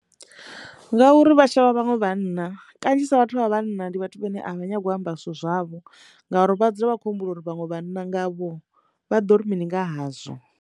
Ngauri vha tshavha vhaṅwe vhana kanzhisa vhathu vha vhanna ndi vhathu vhane a vha nyagi u amba zwithu zwavho ngauri vha dzula vha khou humbula uri vhaṅwe vhana ngavho vha ḓo ri mini nga hazwo.